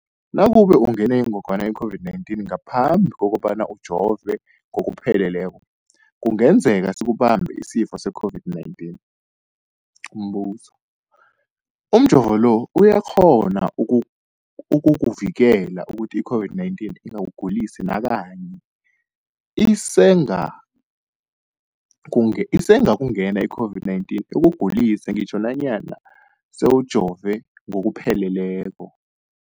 Nakube ungenwe yingogwana i-COVID-19 ngaphambi kobana ujove ngokupheleleko, kungenzeka sikubambe isifo se-COVID-19. Umbuzo, umjovo lo uyakghona ukukuvikela ukuthi i-COVID-19 ingakugulisi nakanye? Isengakungena i-COVID-19 ikugulise ngitjho nanyana sewujove ngokupheleleko.